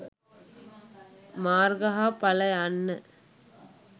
මාර්ග හා ඵල යන්න